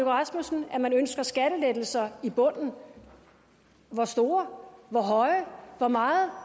rasmussen at man ønsker skattelettelser i bunden hvor store hvor høje hvor meget